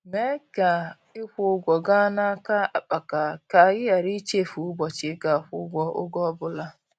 Mee ka ịkwụ ụgwọ gaa n'aka akpaka ka ị ghara ichefu ụbọchị ị ga-akwụ ụgwọ, ọge ọbụla.